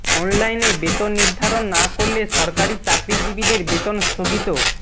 অনলাইনে বেতন নির্ধারণ না করলে সরকারি চাকরিজীবীদের বেতন স্থগিত